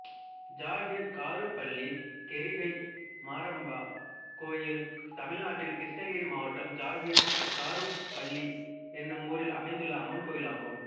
ஜாகீர் காருப்பள்ளி கெரிகை மாரம்மா கோயில் தமிழ்நாட்டில் கிருஷ்ணகிரி மாவட்டம் ஜாகீர் காருப்பள்ளி என்னும் ஊரில் அமைந்துள்ள அம்மன் கோயிலாகும்